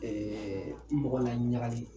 mɔgɔ laɲagali